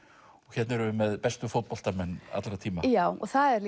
hérna erum við með bestu fótboltamenn allra tíma já og það er